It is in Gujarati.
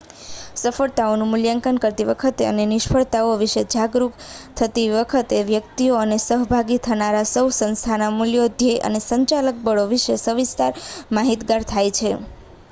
સફળતાઓનું મૂલ્યાંકન કરતી વખતે અને નિષ્ફળતાઓ વિશે જાગરૂક થતી વખતે વ્યક્તિઓ અને સહભાગી થનારા સૌ સંસ્થાના મૂલ્યો ધ્યેય અને સંચાલક બળો વિશે સવિસ્તાર માહિતગાર થાય છે